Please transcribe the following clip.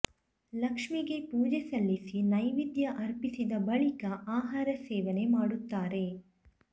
ಲಕ್ಷ್ಮಿಗೆ ಪೂಜೆ ಸಲ್ಲಿಸಿ ನೈವೇದ್ಯ ಅರ್ಪಿಸಿದ ಬಳಿಕ ಆಹಾರ ಸೇವನೆ ಮಾಡುತ್ತಾರೆ